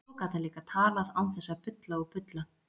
Svo gat hann líka talað án þess að bulla og bulla.